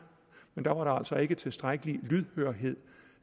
men der var altså ikke tilstrækkelig lydhørhed